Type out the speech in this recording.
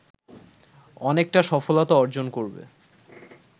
অনেকটা সফলতা অর্জন করবে